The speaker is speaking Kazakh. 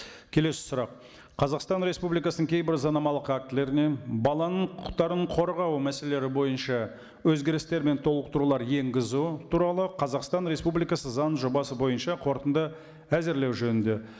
келесі сұрақ қазақстан республикасының кейбір заңнамалық актілеріне баланың құқықтарын қорғау мәселелері бойынша өзгерістер мен толықтырулар енгізу туралы қазақстан республикасы заң жобасы бойынша қорытынды әзірлеу жөнінде